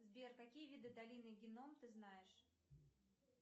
сбер какие виды долины геном ты знаешь